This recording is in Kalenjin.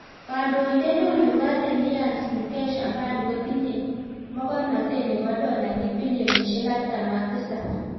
Kandoindet neo neboo Reliance Mukesh Ambani kotinyee mogornotet nepoo dolainik pilionisiek artam ak tisap